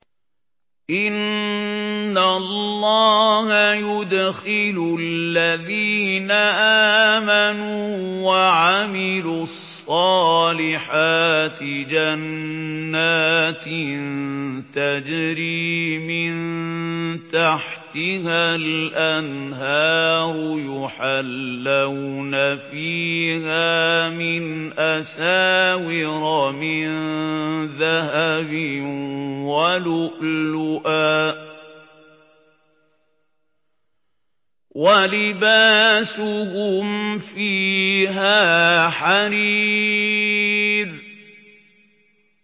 إِنَّ اللَّهَ يُدْخِلُ الَّذِينَ آمَنُوا وَعَمِلُوا الصَّالِحَاتِ جَنَّاتٍ تَجْرِي مِن تَحْتِهَا الْأَنْهَارُ يُحَلَّوْنَ فِيهَا مِنْ أَسَاوِرَ مِن ذَهَبٍ وَلُؤْلُؤًا ۖ وَلِبَاسُهُمْ فِيهَا حَرِيرٌ